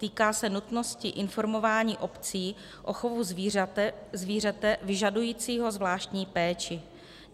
Týká se nutnosti informování obcí o chovu zvířete vyžadujícího zvláštní péči.